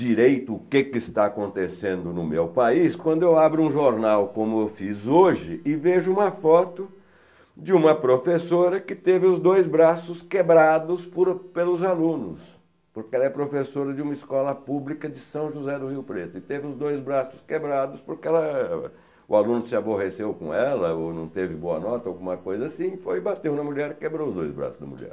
direito o que está acontecendo no meu país, quando eu abro um jornal como eu fiz hoje e vejo uma foto de uma professora que teve os dois braços quebrados por pelos alunos, porque ela é professora de uma escola pública de São José do Rio Preto e teve os dois braços quebrados porque o aluno se aborreceu com ela ou não teve boa nota ou alguma coisa assim, foi e bateu na mulher e quebrou os dois braços da mulher.